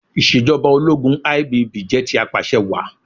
Ìṣèjọba ológun IBB jẹ́ ti Apàṣẹwàá.